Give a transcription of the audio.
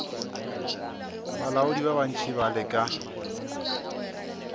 balaodi ba bantši ba leka